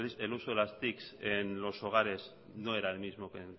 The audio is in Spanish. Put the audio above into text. el uso de las tics en los hogares no era el mismo que en